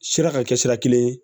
Sira ka kɛ sira kelen ye